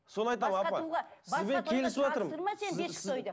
соны айтамын апа сізбен келісіватырмын